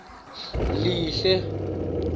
lihle